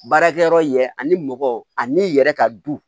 Baarakɛyɔrɔ yɛrɛ ani mɔgɔ n'i yɛrɛ ka du